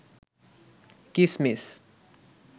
কিসমিস